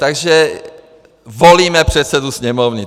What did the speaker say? Takže volíme předsedu Sněmovny.